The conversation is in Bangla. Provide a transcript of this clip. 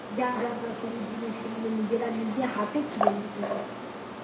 যা যা grocery জিনিস সেগুলো নিজেরা নিজে হাতে কিনে নিয়ে চলে আসি